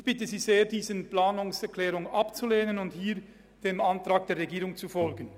Ich bitte Sie sehr, diese Planungserklärung abzulehnen und hier dem Antrag der Regierung zu folgen.